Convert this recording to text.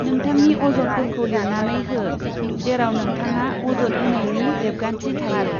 नोंथांनि अजदफोरखौ लिरनानै हो, जेराव नोंथांआ अजद होनायनि रेबगान्थि थायो।